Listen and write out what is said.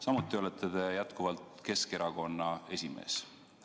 Samuti olete jätkuvalt Keskerakonna esimees.